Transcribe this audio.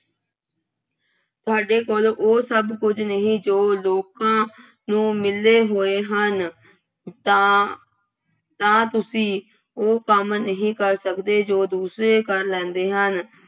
ਤੁਹਾਡੇ ਕੋਲ ਉਹ ਸਭ ਕੁੱਝ ਨਹੀਂ ਜੋ ਲੋਕਾਂ ਨੂੰ ਮਿਲੇ ਹੋਏ ਹਨ। ਤਾਂ ਤਾਂ ਤੁਸੀਂ ਉਹ ਕੰਮ ਨਹੀਂ ਕਰ ਸਕਦੇ ਜੋ ਦੁਸਰੇ ਕਰ ਲੈਂਦੇ ਹਨ।